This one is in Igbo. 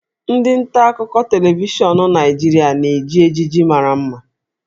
Ndị nta akụkọ televishọn Naịjirịa na-eji ejiji mara mma